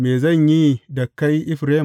Me zan yi da kai Efraim?